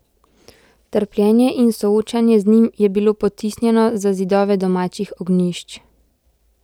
Trpljenje in soočanje z njim je bilo potisnjeno za zidove domačih ognjišč.